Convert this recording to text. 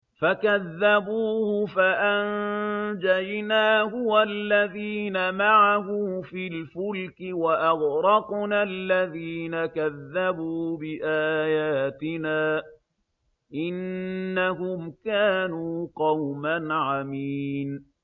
فَكَذَّبُوهُ فَأَنجَيْنَاهُ وَالَّذِينَ مَعَهُ فِي الْفُلْكِ وَأَغْرَقْنَا الَّذِينَ كَذَّبُوا بِآيَاتِنَا ۚ إِنَّهُمْ كَانُوا قَوْمًا عَمِينَ